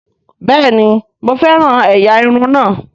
Bẹ́ẹ̀ni mo fẹ́ràn ẹ̀yà irun náà